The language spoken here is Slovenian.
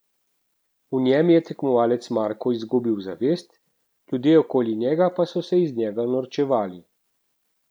V njem je tekmovalec Marko izgubil zavest, ljudje okoli njega pa so se iz njega norčevali.